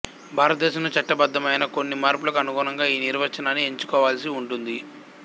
భారతదేశంలోని చట్టబద్దమైన కొన్ని మార్పులకు అనుగుణంగా ఈ నిర్వచనాన్ని ఎంచుకోవాల్సి ఉంటుంది